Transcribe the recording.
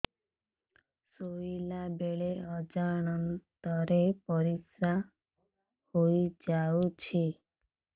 ଶୋଇଲା ବେଳେ ଅଜାଣତ ରେ ପରିସ୍ରା ହେଇଯାଉଛି